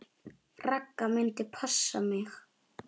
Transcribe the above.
Ragga myndi passa mig.